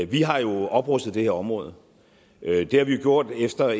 vi har jo oprustet det her område det har vi gjort efter